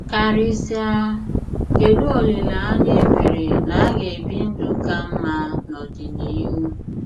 Karịsịa ,Kedụ olileanya e nwere na a ga - ebi ndụ ka mma n’ọdịnihu?